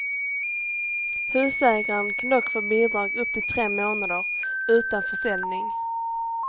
Husägaren kan dock få bidrag upp till tre månader, utan försäljning.